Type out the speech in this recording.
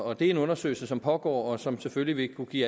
og det er en undersøgelse som pågår og som selvfølgelig vil kunne give